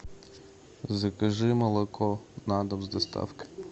закажи молоко на дом с доставкой